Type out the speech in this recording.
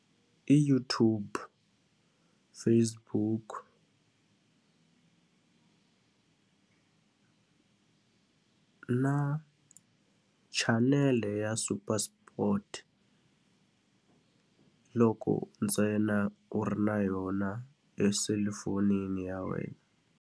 I YouTube, Facebook na chanele ya Super Sport, loko ntsena u ri na yona eselulafonini ya wena.